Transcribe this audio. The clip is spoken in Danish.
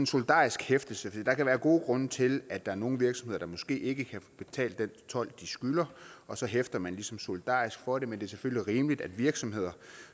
solidarisk hæftelse der kan være gode grunde til at der er nogle virksomheder der måske ikke kan betale den told de skylder og så hæfter man ligesom solidarisk for det men det er selvfølgelig rimeligt at virksomheder